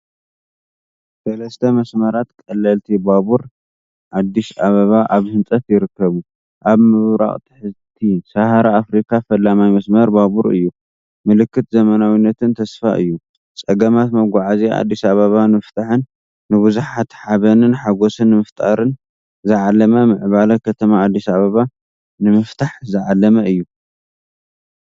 ሰለስተ መስመራት ቀለልቲ ባቡር ኣ/ኣበባ ኣብ ህንፀት ይርከቡ፣ ኣብ ምብራቕን ትሕተ-ሰሃራን ኣፍሪካ ፈላማይ መስመር ባቡር እዩ። ምልክት ዘመናዊነትን ተስፋን እዩ። ፀገማት መጓዓዝያ ኣዲስ ኣበባ ንምፍታሕን ንብዙሓት ሓበንን ሓጎስን ንምፍጣር ዝዓለመ ምዕባለ ከተማ ኣ/ኣበባ ንምፍታሕ ዝዓለመ እዩ።